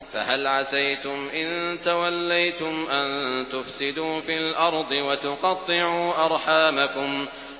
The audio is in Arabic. فَهَلْ عَسَيْتُمْ إِن تَوَلَّيْتُمْ أَن تُفْسِدُوا فِي الْأَرْضِ وَتُقَطِّعُوا أَرْحَامَكُمْ